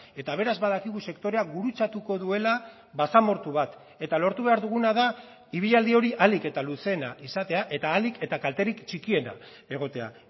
eta beraz badakigu sektorea gurutzatuko duela basamortu bat eta lortu behar duguna da ibilaldi hori ahalik eta luzeena izatea eta ahalik eta kalterik txikiena egotea